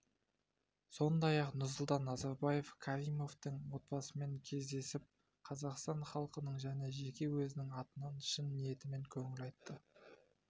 сондай-ақ нұрсұлтан назарбаев каримовтің отбасымен кездесіп қазақстан халқының және жеке өзінің атынан шын ниетімен көңіл айтты